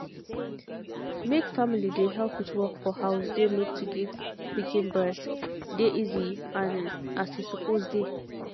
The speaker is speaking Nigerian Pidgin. make family dey help with work for house dey make to give pikin breast dey easy and as e suppose dey